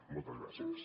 moltes gràcies